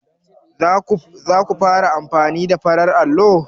Zaku fara amfani da farar allo?